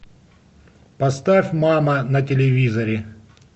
поставь мама на телевизоре